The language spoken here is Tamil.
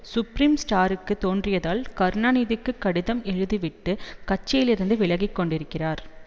சுப்ரீம் ஸ்டாருக்கு தோன்றியதால் கருணாநிதிக்கு கடிதம் எழுதி விட்டு கட்சியிலிருந்து விலகிக்கொண்டிருக்கிறார்